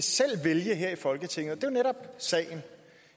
vælge her i folketinget og netop sagen